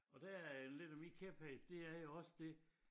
Og der er lidt af min kæphest det er jo også det